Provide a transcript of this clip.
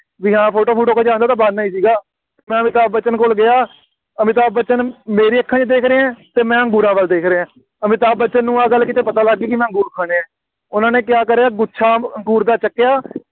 ਬਈ ਹਾਂ, ਫੋਟੋ ਫੂਟੋ ਖਿਚਾ ਲਓ, ਉਹ ਤਾਂ ਬਹਾਨਾ ਹੀ ਸੀਗਾ, ਮੈਂ ਅਮਿਤਾਬ ਬੱਚਨ ਕੋਲ ਗਿਆ, ਅਮਿਤਾਬ ਬੱਚਨ ਮੇਰੀਆਂ ਅੱਖਾਂ ਵਿੱਚ ਦੇਖ ਰਿਹਾ ਅਤੇ ਮੈਂ ਅੰਗੂਰਾਂ ਵੱਲ ਦੇਖ ਰਿਹਾ, ਅਮਿਤਾਬ ਬੱਚਨ ਨੂੰ ਆਹ ਗੱਲ ਕਿਤੇ ਪਤਾ ਲੱਗ ਗਈ, ਮੈਂ ਅੰਗੂਰ ਖਾਣੇ ਆ, ਉਹਨਾ ਨੇ ਕਿਆ ਕਰਿਆ, ਗੁੱਛਾ ਅੰਗੂ~ ਅੰਗੂਰ ਦਾ ਚੁੱਕਿਆ,